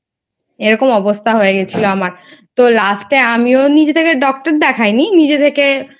এরকম অবস্থা হয়ে গেছিল আমার. তো Last এ আমিও নিজে থেকে Doctor দেখায়নি. নিজে থেকে